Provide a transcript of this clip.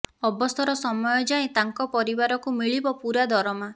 ଅବସର ସମୟ ଯାଏଁ ତାଙ୍କ ପରିବାରକୁ ମିଳିବ ପୂରା ଦରମା